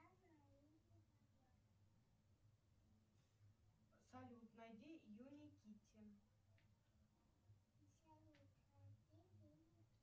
салют найди юрий китин